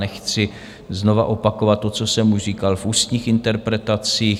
Nechci znovu opakovat to, co jsem už říkal v ústních interpelacích.